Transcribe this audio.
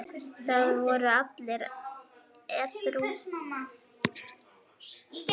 Það voru allir edrú.